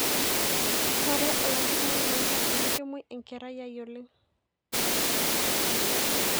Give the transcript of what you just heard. koree olkitarri loo nkera amu kemuoi enkerai aai oleng